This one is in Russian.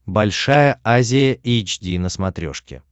большая азия эйч ди на смотрешке